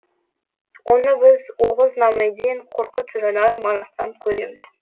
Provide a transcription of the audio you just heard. оны біз оғыз намеден қорқыт жырынан манастан көреміз